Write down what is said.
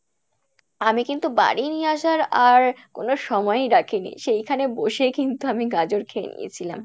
আমি কিন্তু বাড়ি নিয়ে আসার আর কোন সময়ই রাখিনি সেইখানে বসে কিন্তু আমি গাজর খেয়ে নিয়েছিলাম